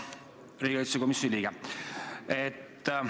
Hea riigikaitsekomisjoni liige!